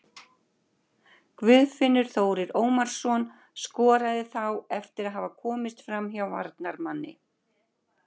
Guðfinnur Þórir Ómarsson skoraði þá eftir að hafa komist framhjá varnarmanni.